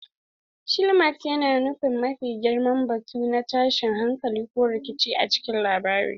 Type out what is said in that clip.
Climax yana nufin mafi girman batu na tashin hankali ko rikici a cikin labari.